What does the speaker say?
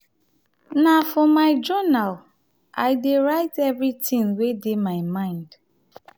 na for my jounal i dey write everytin wey dey my mind.